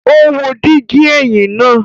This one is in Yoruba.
O wo digi ẹhin naa